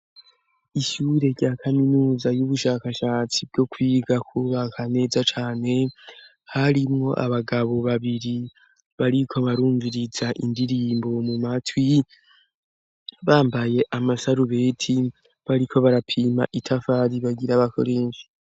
Ishyure rya kaminuza y'ubushakashatsi bwo kwiga kubaka neza cane harimwo abagabo babiri bariko barumviriza indirimbo mu matwi bambaye amasarubeti bariko barapima itafari bagira bakoreshe.